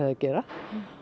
að gera